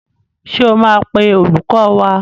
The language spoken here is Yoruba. Ṣé o máa pe olùkọ́ wá?